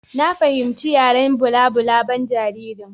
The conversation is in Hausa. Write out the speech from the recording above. Na fahimci yaren balabulaban jaririn.